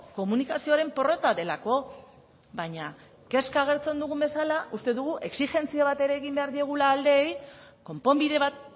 komunikazioaren porrota delako baina kezka agertzen dugun bezala uste dugu exijentzia bat ere egin behar diegula aldeei konponbide bat